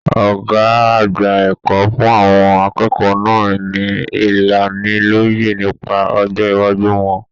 Ọgá àgbà ẹ̀kọ́ fún àwọn akẹ́kọ̀ọ́ náà ní ìlánílọ́yẹ̀ nípa ọjọ iwájú wọn.